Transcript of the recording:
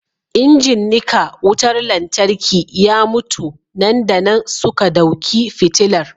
injin nika wutar lantarki ya mutu nan da nan suka dauki fitilar